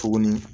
Tuguni